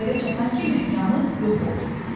Atmosferə çatan kimi yanıb yox oldu.